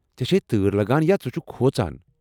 ژےٚ چھیہِ تٲر لگان یا ژٕ چھٗکھ کھۄژان؟